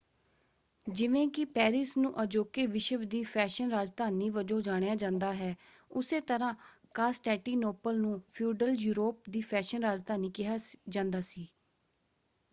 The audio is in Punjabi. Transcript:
ਜਿਵੇਂ ਕਿ ਪੈਰਿਸ ਨੂੰ ਅਜੋਕੇ ਵਿਸ਼ਵ ਦੀ ਫੈਸ਼ਨ ਰਾਜਧਾਨੀ ਵਜੋਂ ਜਾਣਿਆ ਜਾਂਦਾ ਹੈ ਉੱਸੇ ਤਰ੍ਹਾ ਕਾਂਸਟੈਂਟੀਨੋਪਲ ਨੂੰ ਫਿਊਡਲ ਯੂਰੋਪ ਦੀ ਫੈਸ਼ਨ ਰਾਜਧਾਨੀ ਕਿਹਾ ਜਾਂਦਾ ਸੀ।